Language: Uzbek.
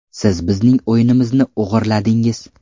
Siz bizning o‘yinimizni o‘g‘irladingiz.